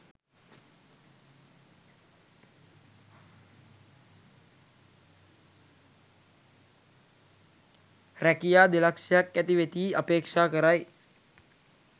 රැකියා දෙලක්ෂයක් ඇති වෙතියි අපේක්ෂා කරයි.